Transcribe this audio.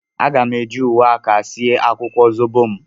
A ga m eji uwe aka sie akwukwo zobo m.